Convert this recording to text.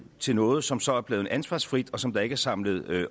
til noget som så er blevet ansvarsfrit og som der ikke samlet